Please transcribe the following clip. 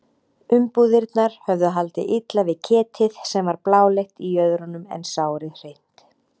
Umbúðirnar höfðu haldið illa við ketið sem var bláleitt í jöðrunum en sárið hreint.